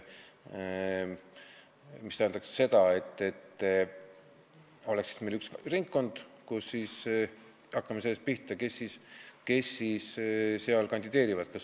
Hakkame pihta sellest, kes siis seal kandideerivad.